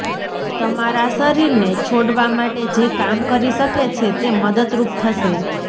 તમારા શરીરને છોડવા માટે જે કામ કરી શકે છે તે મદદરૂપ થશે